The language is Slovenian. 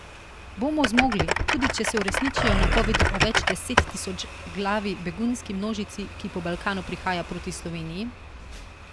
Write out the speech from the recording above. Bomo zmogli, tudi če se uresničijo napovedi o več desettisočglavi begunski množici, ki po Balkanu prihaja proti Sloveniji?